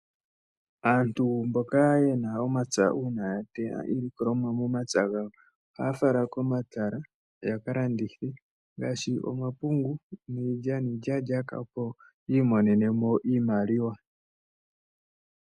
Aantu mboka yena omapya uuna ya teya iilikolomwa yawo momapya ohaya yi komatala ya kalandithe ngaashi omapungu, iilyalyaka opo yi imonene mo iimaliwa.